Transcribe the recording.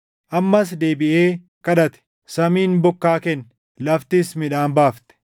Ammas deebiʼee kadhate; samiin bokkaa kenne; laftis midhaan baafte.